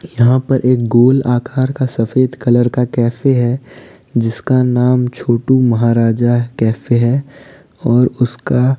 यहां पर एक गोल आकार का सफेद कलर का कैफ़े है जिसका नाम छोटू महाराजा कैफ़े है और उसका --